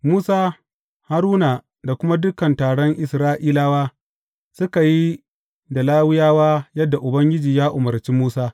Musa, Haruna da kuma dukan taron Isra’ilawa, suka yi da Lawiyawa yadda Ubangiji ya umarci Musa.